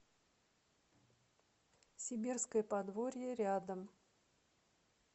сибирское подворье рядом